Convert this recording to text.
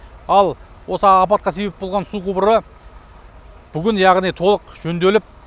ал осы апатқа себеп болған су құбыры бүгін яғни толық жөнделіп